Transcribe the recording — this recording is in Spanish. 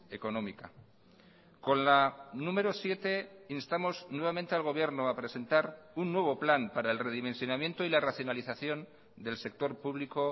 económica con la número siete instamos nuevamente al gobierno a presentar un nuevo plan para el redimensionamiento y la racionalización del sector público